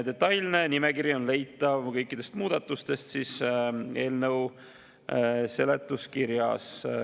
Detailne nimekiri kõikidest muudatustest on leitav eelnõu seletuskirjast.